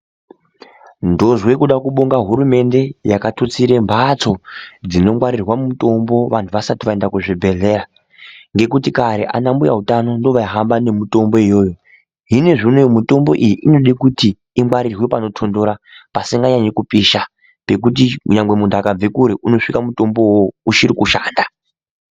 Ndonzwa kuda kubhonga hurumende yakatutsira mbatso dzinongwarirwa mitombo vanhu vasati vaenda kuzvibhehlera, ngekuti kare ana mbuya utano ndivo vaihamba nemitombo iyoyo. Hino zvino mitombo iyi inoda kuti ingwarirwe panotonhora pasinganyanyi kupisa zvokuti munhu akabve kure unosvika mutombo uwowo uchiri kushanda.